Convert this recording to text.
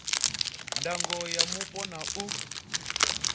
ndango ya mupo na u